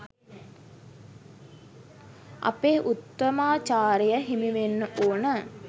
අපේ උත්තමාචාරය හිමිවෙන්න ඕන.